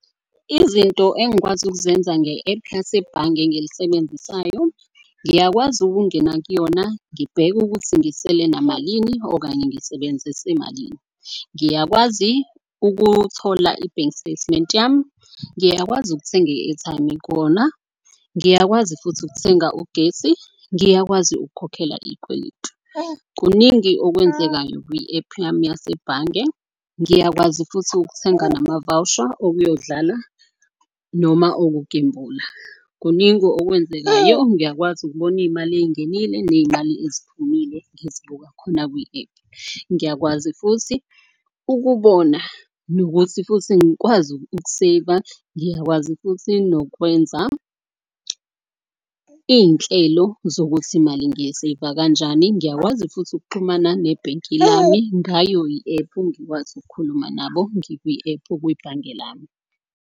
Izinto engikwazi ukuzenza nge-app yasebhange engilisebenzisayo. Ngiyakwazi ukungena kuyona ngibheke ukuthi ngisele namalini okanye ngisebenzise malini. Ngiyakwazi ukuthola i-bank statement yami, ngiyakwazi ukuthenga i-airtime kona, ngiyakwazi futhi ukuthenga ugesi. Ngiyakwazi ukukhokhela iy'kweletu. Kuningi okwenzekayo kwi-ephu yami yasebhange. Ngiyakwazi futhi ukuthenga namavawusha, okuyodala noma okugembula, kuningi okwenzekayo. Ngiyakwazi ukubona iy'mali ey'ngenile ney'mali eziphumile ngizibuka khona kwi-app. Ngiyakwazi futhi ukubona nokuthi futhi ngikwazi ukuseyiva, ngiyakwazi futhi nokwenza iy'nhlelo zokuthi mali ngiyeseyiva kanjani. Ngiyakwazi futhi ukuxhumana nebhenki lami ngayo i-epu ngikwazi ukukhuluma nabo ngikwi-epu kwibhange lami.